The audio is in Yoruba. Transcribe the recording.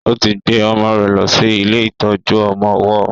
ó ti gbe ọmọ rẹ̀ ló sì ilé ìtọjú ọmọ ọwó